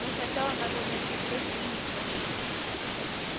но сначала надо найти всех уизли